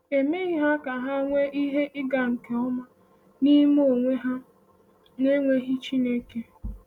“E meghị ha ka ha nwee ihe ịga nke ọma n’ime onwe ha n’enweghị Chineke.”